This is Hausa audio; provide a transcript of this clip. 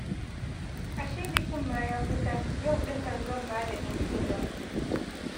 Ashe bikin ma ya kusa, yau ɗin nan zan ba da ɗinkina